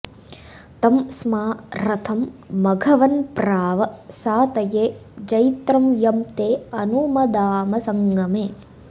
तं स्मा॒ रथं॑ मघव॒न्प्राव॑ सा॒तये॒ जैत्रं॒ यं ते॑ अनु॒मदा॑म संग॒मे